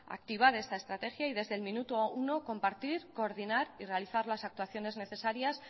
activar esta estrategia y desde el minuto uno compartir coordinar y realizar las actuaciones necesarias